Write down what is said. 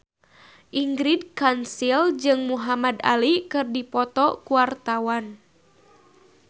Ingrid Kansil jeung Muhamad Ali keur dipoto ku wartawan